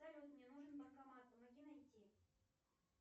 салют мне нужен банкомат помоги найти